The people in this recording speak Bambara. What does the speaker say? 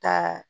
Ka